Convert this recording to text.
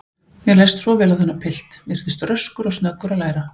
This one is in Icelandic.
Mér leist svo vel á þennan pilt, virtist röskur og snöggur að læra.